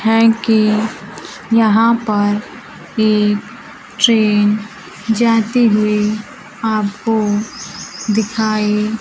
हैं कि यहां पर एक ट्रेन जाते हुए आपको दिखाई --